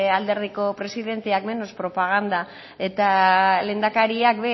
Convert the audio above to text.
alderdiko presidenteak menos propaganda eta lehendakariak